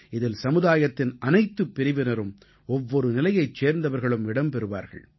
இதில் சமுதாயத்தின் அனைத்து பிரிவினரும் ஒவ்வொரு நிலையைச் சேர்ந்தவர்களும் இடம் பெறுவார்கள்